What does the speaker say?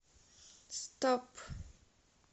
стоп